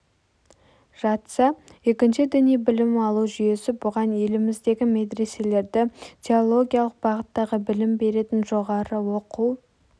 жатса екінші діни білім алу жүйесі бұған еліміздегі медреселерді теологиялық бағыттағы білім беретін жоғары оқу